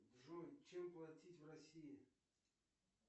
джой чем платить в россии